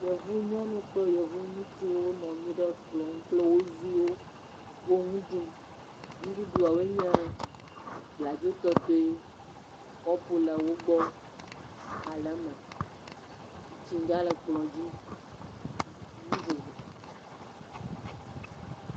Yevunyɔnu kple yevuŋutsuwo nɔ nyi ɖe kplɔ nu kple wo viwo wo nu ɖum. Nuɖuɖuawoe nye bladzo tɔtɔe. Kɔpu le wo gbɔ, aha le eme. Tsitsinga le kplɔ dzi. Enu vovo